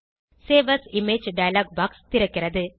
save as image dialog box திறக்கிறது